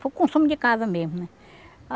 Para o consumo de casa mesmo, né?